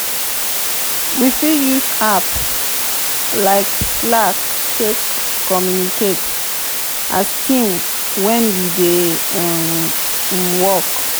we fit use apps like slack take communicate as team when we dey um work